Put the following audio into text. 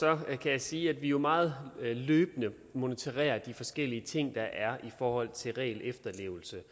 kan jeg sige at vi meget løbende monitorerer de forskellige ting der er i forhold til regelefterlevelse